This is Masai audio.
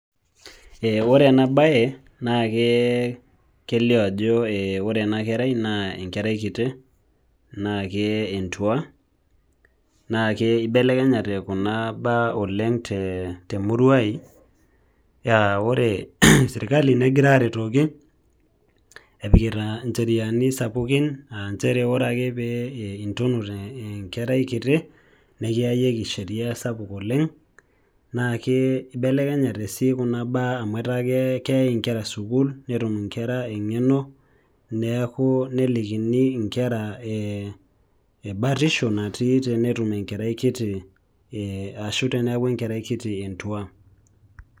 Ore enabae nake kelio ajo ore enakerai na enkerai kiti, nake entua, naake ibelekenyate kuna baa oleng temurua ai, ore sirkali negira aretoki, epikita incheriani sapukin ah njere ore ake pee intunut enkerai kiti, nikiayieki sheria sapuk oleng, nake ibelekenyate si kuna baa amu etaa keei inkera sukuul netum inkera eng'eno, neeku nelikini inkera batisho natii tenetum enkerai kiti ashu teneeku enkerai kiti entua.